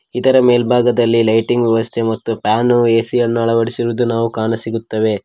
ಇದರ ಮೇಲ್ಭಾಗದಲ್ಲಿ ಲೈಟಿಂಗ್ ವ್ಯವಸ್ಥೆ ಮತ್ತು ಫ್ಯಾನ್ ಎ_ಸಿ ಯನ್ನು ಅಳವಡಿಸಿರುವುದು ನಾವು ಕಾಣ ಸಿಗುತ್ತವೆ.